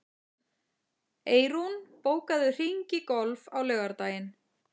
Eyrún, bókaðu hring í golf á laugardaginn.